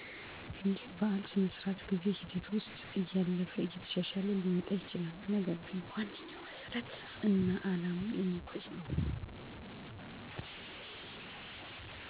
ህብረተሰቡ ወይም ግለሰቡ በእዉት እንዲመራ የትምህርት አሰጣጡ ነገሮች ሁሉ በቴክኖሎጅ እና በሲስተም መሆኑ ለዉጡ ጥሩነዉ